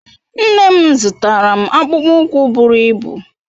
Nne m zụtara m akpụkpọ ụkwụ buru ibụ.